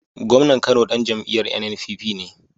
Gomnan Kano Dan jam'iyar NNPP ne